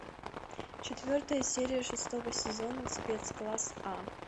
четвертая серия шестого сезона спецкласс а